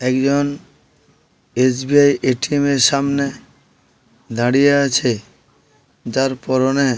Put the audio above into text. একজন SBI. ATM. -এর সামনে দাঁড়িয়ে আছে । যার পরনে--